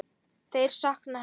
Þeir sakna hennar.